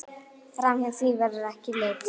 Framhjá því verður ekki litið.